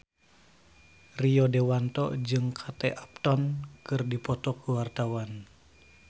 Rio Dewanto jeung Kate Upton keur dipoto ku wartawan